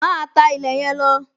Máa tá ilẹ̀ yẹn lọ!